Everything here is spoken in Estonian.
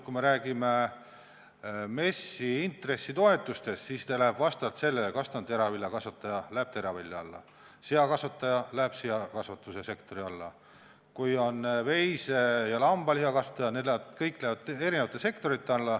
Kui me räägime MES-i intressitoetustest, siis need lähevad vastavalt sellele, et teraviljakasvataja läheb teraviljakasvatuse alla, seakasvataja läheb seakasvatuse sektori alla, veise- ja lambalihakasvatajad lähevad eri sektorite alla.